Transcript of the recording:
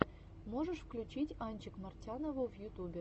можешь включить анчик мартянову в ютубе